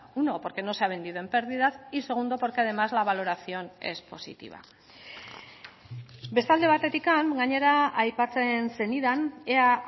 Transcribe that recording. uno porque no se ha vendido en pérdidas y segundo porque además la valoración es positiva beste alde batetik gainera aipatzen zenidan ea